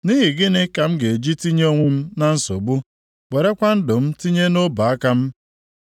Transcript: Nʼihi gịnị ka m ga-eji tinye onwe m na nsogbu, werekwa ndụ m tinye nʼọbụaka m?